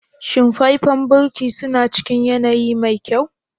Shin faifen birki suna cikin yanayi mai kyau?